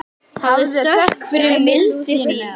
Hafðu þökk fyrir mildi þína.